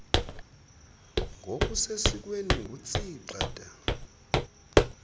ngokusesikweni ngutsii gxada